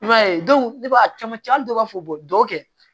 I b'a ye ne b'a camancɛ hali dɔw b'a fɔ dɔ kɛ